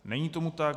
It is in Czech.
Není tomu tak.